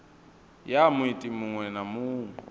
ya muiti muṅwe na muṅwe